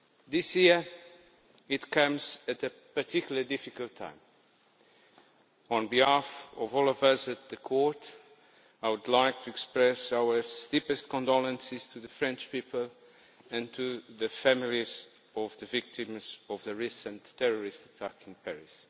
This year it comes at a particularly difficult time. On behalf of all of us at the Court, I would like to express our deepest condolences to the French people and to the families of the victims of the recent terrorist attacks in Paris.